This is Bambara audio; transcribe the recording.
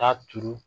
Taa turu